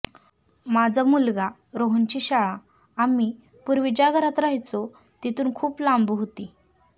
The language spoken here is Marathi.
माझ्या मुलगा रोहनची शाळा आम्ही पुर्वी ज्या घरात राहयचो तिथुन खुप लांब होती